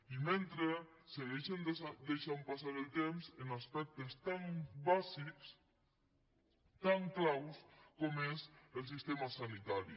i mentre segueixen deixant passar el temps en aspectes tan bàsics tan claus com és el sistema sanitari